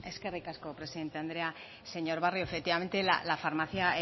eskerrik asko presidente anderea señor barrio efectivamente la farmacia